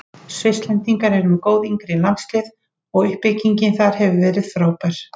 Svisslendingar eru með góð yngri landslið og uppbyggingin þar hefur verið frábær.